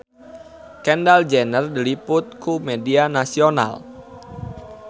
Kendall Jenner diliput ku media nasional